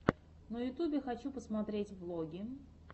на ютубе хочу посмотреть влоги